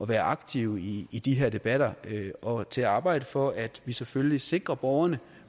være aktive i i de her debatter og til at arbejde for at vi selvfølgelig sikrer borgerne